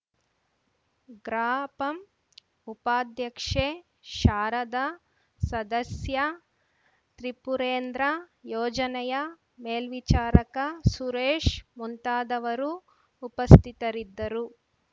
ಗ್ರಾಪಂ ಉಪಾಧ್ಯಕ್ಷೆ ಶಾರದ ಸದಸ್ಯ ತ್ರಿಪುರೇಂದ್ರ ಯೋಜನೆಯ ಮೇಲ್ವಿಚಾರಕ ಸುರೇಶ್‌ ಮುಂತಾದವರು ಉಪಸ್ಥಿತರಿದ್ದರು